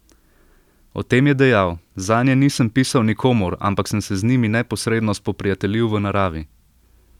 O tem je dejal: "Zanje nisem pisal nikomur, ampak sem se z njimi neposredno spoprijateljil v naravi.